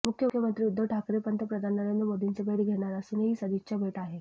मुख्यमंत्री उद्धव ठाकरे पंतप्रधान नरेंद्र मोदींची भेट घेणार असून ही सदिच्छा भेट आहे